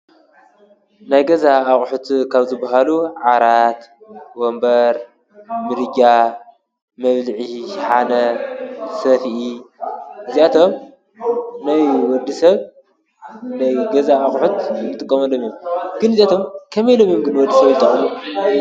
ናይ ገዛ አቁሑት ካብ ዝበሃሉ ዓራት፣ ወንበር፣ ምድጃ፣ መብልዒ ሸሓነ፣ ሰፍኢ እዚአቶም ናይ ወዲሰብ ናይ ገዛ አቁሑት ዝጥቀመሎም እዮም። ግን እዚኦም ከመይ ኢሎም እዬም ንወዲሰብ ዝጠቅሙ?